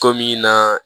Komi naa